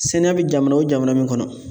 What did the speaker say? Sɛnɛ bɛ jamana o jamana min kɔnɔ